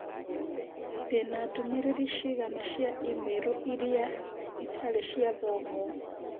Ndĩ na ndũmĩrĩri cigana cia i-mīrū irĩai itarĩ cia thomwo